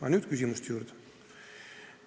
Aga nüüd küsimuste juurde.